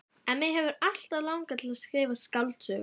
En mig hefur alltaf langað til að skrifa skáldsögu.